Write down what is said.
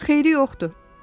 Xeyri yoxdur.